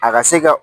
A ka se ka